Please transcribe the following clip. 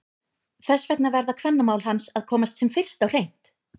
Þess vegna verða kvennamál hans að komast sem fyrst á hreint!